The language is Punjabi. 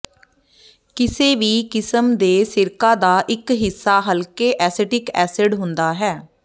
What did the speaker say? ਕਿਸੇ ਵੀ ਕਿਸਮ ਦੇ ਸਿਰਕਾ ਦਾ ਇਕ ਹਿੱਸਾ ਹਲਕੇ ਐਸੀਟਿਕ ਐਸਿਡ ਹੁੰਦਾ ਹੈ